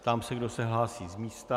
Ptám se, kdo se hlásí z místa.